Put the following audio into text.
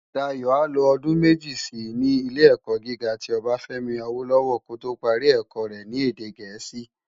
Dayo á lo òdún meji si ni Ilé-èkò gigá ti Obafemi Awolowo kó tó pári èkò rè ni èdè Gẹẹsi